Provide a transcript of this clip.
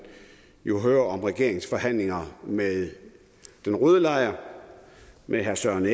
jo hører om regeringens forhandlinger med den røde lejr med herre søren